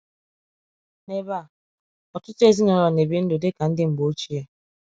N’ebe a, ọtụtụ ezinụlọ na-ebi ndụ dị ka ndị mgbe ochie.